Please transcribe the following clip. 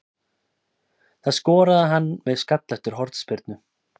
Það skoraði hann með skalla eftir hornspyrnu.